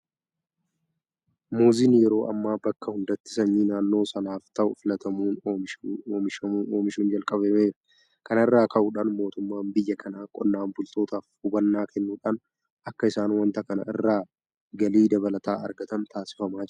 Muuziin yeroo ammaa bakka hundatti sanyii naannoo sanaaf ta'u filatamuun oomishuun jalqabameera. Kana irraa ka'uudhaan mootummaan biyya kanaa qonnaan bultootaaf hubannaa kennuudhaan akka isaan waanta kana irraa galii dabalataa argatan taasifamaa jira.